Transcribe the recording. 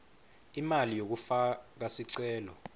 imali yekufaka sicelo